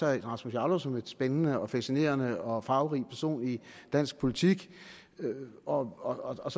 herre rasmus jarlov som en spændende og fascinerende og farverig person i dansk politik og og